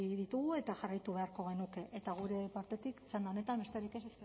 ditugu eta jarraitu beharko genuke eta gure partetik txanda honetan besterik ez